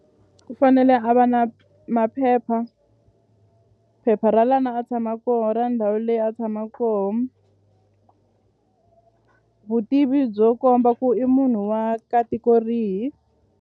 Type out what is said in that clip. U fanele a va na maphepha phepha ra lana a tshama koho ndhawu leyi a tshama koho vutivi byo komba ku i munhu wa ka tiko rihi.